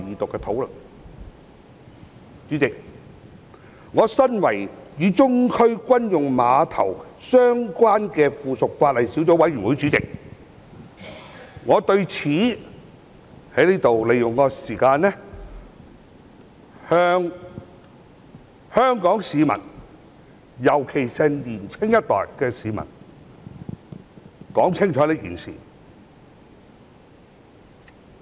主席，我身為與中區軍用碼頭相關的附屬法例小組委員會主席，我想藉此機會向香港市民，尤其是年青一代的市民說清楚這件事。